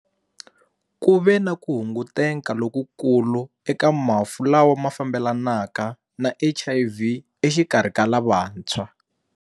Ku ve na ku hunguteka lokukulu eka mafu lawa ma fambelanaka na HIV exikarhi ka lavantshwa.